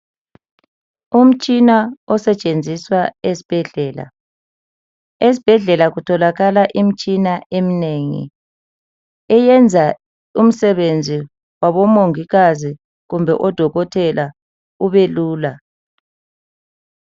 Umtshina osetshenziswa ezbhedlela. Esibhedlela kutholakala imtshina emnengi eyenza umsebenzi wabomongikazi kumbe odokotela ubelula.